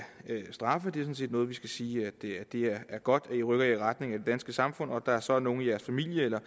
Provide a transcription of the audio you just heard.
straffe det er sådan set noget vi skal sige er godt det er godt at i rykker jer i retning af det danske samfund og at der så er nogle i jeres familie eller